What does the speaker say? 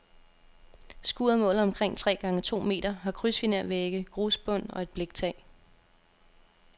Skuret måler omkring tre gange to meter, har krydsfinervægge, grusbund og et bliktag.